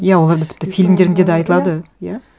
иә оларда тіпті фильмдерінде де айтылады иә